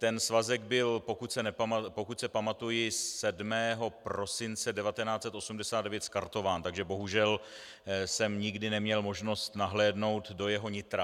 Ten svazek byl, pokud se pamatuji, 7. prosince 1989 skartován, takže bohužel jsem nikdy neměl možnost nahlédnout do jeho nitra.